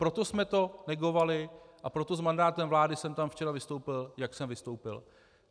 Proto jsme to negovali a proto s mandátem vlády jsem tam včera vystoupil, jak jsem vystoupil.